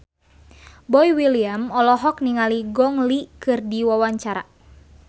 Boy William olohok ningali Gong Li keur diwawancara